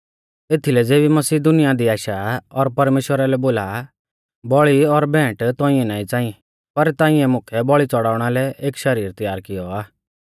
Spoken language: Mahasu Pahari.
एथीलै ज़ेबी मसीह दुनिया दी आशा आ और परमेश्‍वरा लै बोला आ बौल़ी और भेंट ताइंऐ नाईं च़ाई पर ताइंऐ मुकै बौल़ी च़ौड़णा लै एक शरीर तयार कियौ आ